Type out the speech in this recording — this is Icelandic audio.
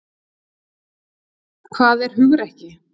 Hvað er hugrekki?